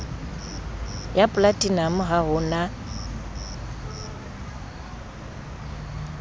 ya polatinamo ha ho na